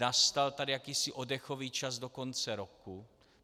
Nastal tady jakýsi oddechový čas do konce roku.